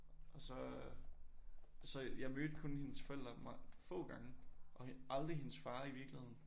Og så øh og så jeg mødte kun hendes forældre få gange og aldrig hendes far i virkeligheden